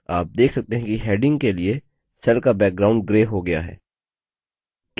आप देख सकते हैं कि headings के लिए cell का background grey हो गया है